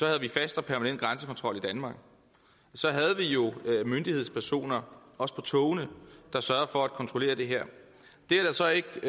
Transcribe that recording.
havde vi fast og permanent grænsekontrol i danmark så havde vi jo myndighedspersoner også på togene der sørgede for at kontrollere det her det er der så ikke